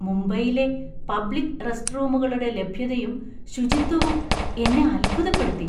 മുംബൈയിലെ പബ്ലിക്ക് റെസ്റ്റ്‌റൂമുകളുടെ ലഭ്യതയും, ശുചിത്വവും എന്നെ അത്ഭുതപ്പെടുത്തി.